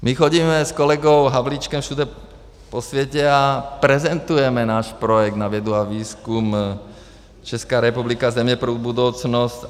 My chodíme s kolegou Havlíčkem všude po světě a prezentujeme náš projekt na vědu a výzkum Česká republika: země pro budoucnost.